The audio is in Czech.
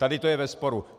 Tady to je ve sporu.